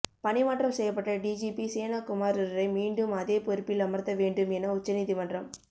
பணி மாற்றம் செய்யப்பட்ட டிஜிபி சேனகுமாருரை மீண்டும் அதே பொறுப்பில் அமர்த்தவேண்டும் என உச்சநீதிமன்றம்